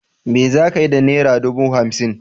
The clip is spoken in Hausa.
Me zakiyi da nera dubu hamsin?